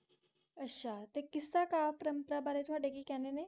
ਅੱਛਾ ਤੇ ਕਿੱਸਾ ਕਾਵਿ ਪਰੰਪਰਾ ਬਾਰੇ ਤੁਹਾਡੇ ਕੀ ਕਹਿਣੇ ਨੇ?